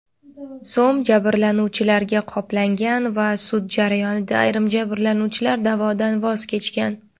so‘m jabrlanuvchilarga qoplangan va sud jarayonida ayrim jabrlanuvchilar da’vodan voz kechishgan.